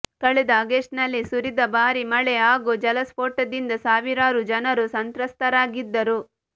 ಕಳೆದ ಆಗಸ್ಟ್ ನಲ್ಲಿ ಸುರಿದ ಭಾರೀ ಮಳೆ ಹಾಗೂ ಜಲಸ್ಫೋಟದಿಂದ ಸಾವಿರಾರು ಜನರು ಸಂತ್ರಸ್ತರಾಗಿದ್ದರು